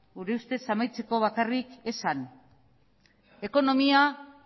gure ustez amaitzeko bakarrik esan ekonomia